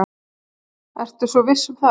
Ertu svo viss um það?